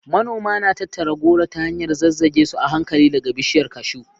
Manoma na tattara goro ta hanyar zazzage su a hankali daga bishiyar cashew.